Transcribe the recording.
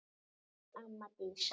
Elsku amma Dísa.